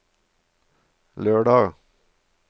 lørdag